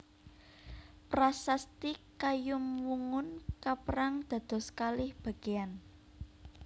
Prasasti Kayumwungun kaperang dados kalih bagéyan